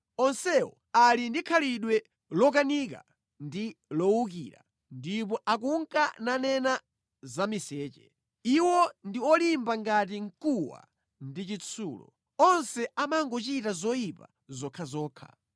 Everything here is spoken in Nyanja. Onsewo ali ndi khalidwe lokanika ndi lowukira ndipo akunka nanena zamiseche. Iwo ndi olimba ngati mkuwa ndi chitsulo. Onse amangochita zoyipa zokhazokha.